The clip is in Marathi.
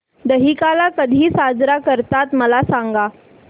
दहिकाला कधी साजरा करतात मला सांग